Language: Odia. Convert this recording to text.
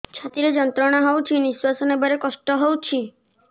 ଛାତି ରେ ଯନ୍ତ୍ରଣା ହଉଛି ନିଶ୍ୱାସ ନେବାରେ କଷ୍ଟ ହଉଛି